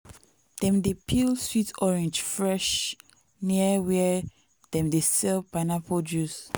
dem dey peel sweet orange fresh near where dem dey sell pineapple juice.